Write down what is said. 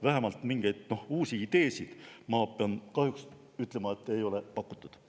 Vähemalt mingeid uusi ideesid, ma pean kahjuks ütlema, ei ole pakutud.